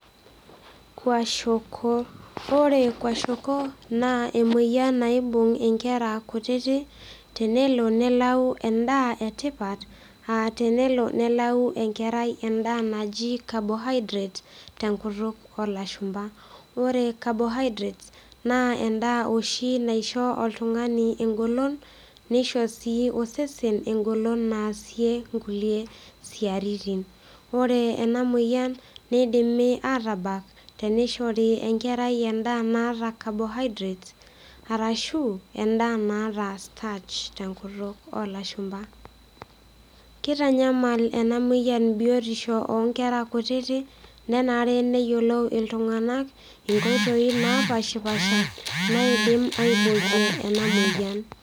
Oore kwashiorkor naa emueyian naibung inkera kutitik, tenelo nelau en'daa e tipat, aah tenelo nelau enkerai en'daa naaji carbohydrate tenkutuk olashumba. Oore carbohydrate naa en'daa naisho osesen egolon, neisho sii osesen egolon naasie inkulie siaitin. Oore eena mueyian neidimi atabak teneishori enkerai en'daa naata carbohydrate, arashu en'daa naata starch tenkutuk olashumba. Keitanyamal eena mueyian biotisho onkera kutitik, nenare neyiolou iltung'anak inkoitoi napashpaasha, naidim aiboorie eena mueyian.